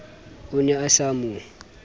o ne a sa mo